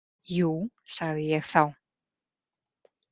Jú, sagði ég þá.